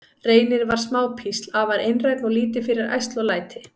Reynir var smá písl, afar einrænn og lítið fyrir ærsl og læti.